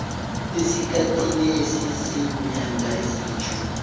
esikhathini esiziinyanga ezilitjhumi